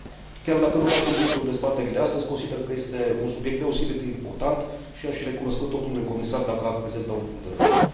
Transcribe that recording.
Chiar dacă nu face obiectul dezbaterii de astăzi, consider că este un subiect deosebit de important, și i aș fi recunoscător domnului comisar dacă ar prezenta un punct de vedere.